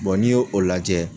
n'i y'o o lajɛ